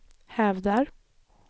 hävdar